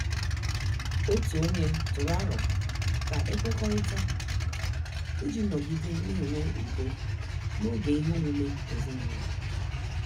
Otu ọnye tụrụ aro ka e kwekọrịta iji nọgide na-enwe udo n'oge ihe omume ezinụlọ.